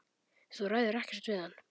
Þú ræður ekkert við hann.